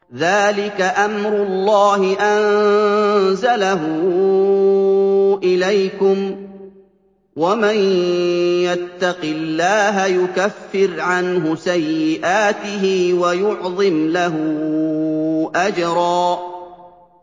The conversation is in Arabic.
ذَٰلِكَ أَمْرُ اللَّهِ أَنزَلَهُ إِلَيْكُمْ ۚ وَمَن يَتَّقِ اللَّهَ يُكَفِّرْ عَنْهُ سَيِّئَاتِهِ وَيُعْظِمْ لَهُ أَجْرًا